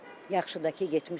Yaxşı da ki getmişəm,